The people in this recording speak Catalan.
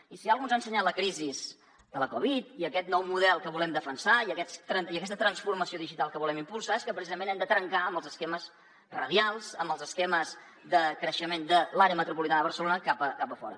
i si una cosa ens ha ensenyat la crisi de la covid i aquest nou model que volem defensar i aquesta transformació digital que volem impulsar és que precisament hem de trencar amb els esquemes radials amb els esquemes de creixement de l’àrea metropolitana de barcelona cap a fora